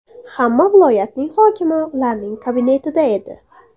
Hamma viloyatning hokimi ularning kabinetida edi.